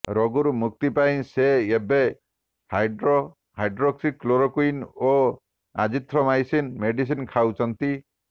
ରୋଗରୁ ମୁକ୍ତି ପାଇଁ ସେ ଏବେ ହାଇଡ୍ରୋକ୍ସିକ୍ଲୋରୋକୁଇନ୍ ଓ ଆଜିଥ୍ରୋମାଇସିନ୍ ମେଡିସିନ୍ ଖାଉଛନ୍ତି